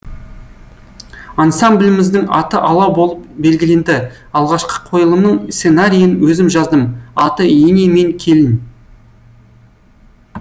ансамбліміздің аты алау болып белгіленді алғашқы қойылымның сценариін өзім жаздым аты ене мен келін